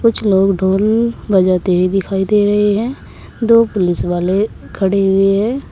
कुछ लोग ढोल बजाते हुए दिखाई दे रहें हैं दो पुलिस वाले खड़े हुए हैं।